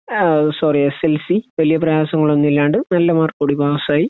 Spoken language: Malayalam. ആവ് sorry S S L C വലിയ പ്രയാസങ്ങൾ ഒന്നും ഇല്ലാണ്ട് നല്ലമാർക്കോടുകൂടി പാസ് ആയി